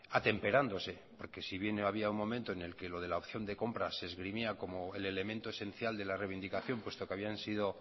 atemperándose porque si bien había un momento en el que lo de la opción de compra se esgrimía como el elemento esencial de la reivindicación puesto que habían sido